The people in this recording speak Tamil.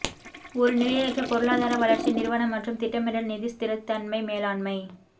ஒரு நிலையற்ற பொருளாதார வளர்ச்சி நிறுவன மற்றும் திட்டமிடல் நிதி ஸ்திரத்தன்மை மேலாண்மை